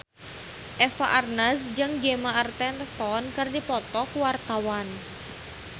Eva Arnaz jeung Gemma Arterton keur dipoto ku wartawan